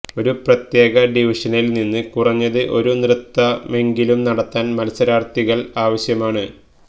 ഒരു പ്രത്യേക ഡിവിഷനിൽ നിന്ന് കുറഞ്ഞത് ഒരു നൃത്തമെങ്കിലും നടത്താൻ മത്സരാർത്ഥികൾ ആവശ്യമാണ്